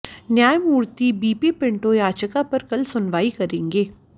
न्यायमूर्ति B P Pinto याचिका पर कल सुनवाई करेंगे